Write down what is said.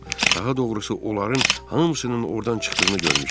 Daha doğrusu onların hamısının ordan çıxdığını görmüşəm.